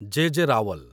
ଜେ. J. Rawal